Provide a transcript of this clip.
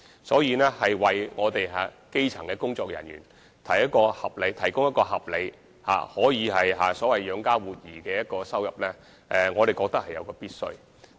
所以，為基層工作人員提供合理、所謂可以養家活兒的收入，我們認為是必須的。